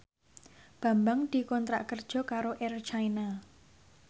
Bambang dikontrak kerja karo Air China